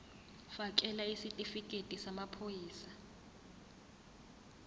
fakela isitifikedi samaphoyisa